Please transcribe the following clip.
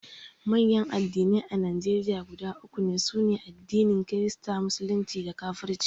manyan addinai a Najeriya guda uku ne: sune addinin kirista, musulunci da kafirci